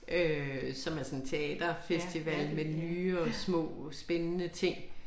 Øh som er sådan teaterfestival med nye og små spændende ting